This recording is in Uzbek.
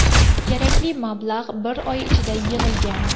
Kerakli mablag‘ bir oy ichida yig‘ilgan.